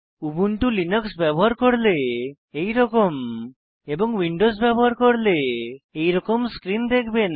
Ubuntu Linux ব্যবহার করলে এইরকম এবং উইন্ডোজ ব্যবহার করলে এইরকম স্ক্রীন দেখবেন